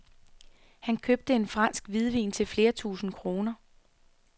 Han købte en fransk hvidvin til flere tusind kroner.